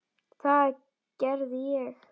Það gerði ég.